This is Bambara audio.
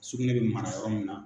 Sugunɛ bɛ mara yɔrɔ min na.